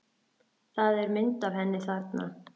Það er mynd af henni þarna.